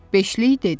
Beşlik dedi.